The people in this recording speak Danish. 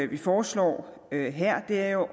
vi foreslår her er